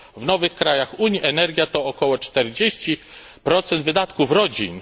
W nowych krajach Unii energia to około 40 wydatków rodzin.